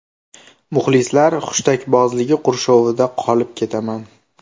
Muxlislar hushtakbozligi qurshovida qolib ketaman.